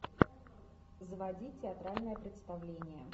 заводи театральное представление